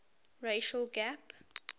racial gap